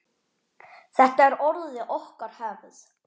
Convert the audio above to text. Þetta er orðið okkar hefð.